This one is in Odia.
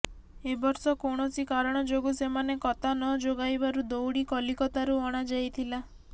ଏବର୍ଷ କୌଣସି କାରଣ ଯୋଗୁ ସେମାନେ କତା ନଯୋଗାଇବାରୁ ଦଉଡ଼ି କଲିକତାରୁ ଅଣାଯାଇଥିଲା